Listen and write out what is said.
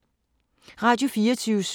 Radio24syv